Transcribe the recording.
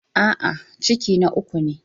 A'a, ciki na uku ne.